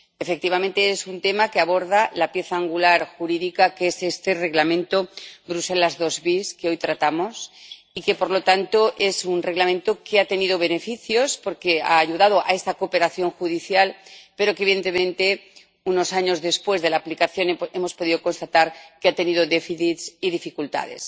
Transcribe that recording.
Efectivamente, es un tema que aborda la pieza angular jurídica que es este Reglamento Bruselas II bis, que hoy tratamos y que es un Reglamento que ha tenido beneficios porque ha ayudado a esta cooperación judicial, pero, evidentemente, unos años después de la aplicación, hemos podido constatar que ha tenido déficits y dificultades.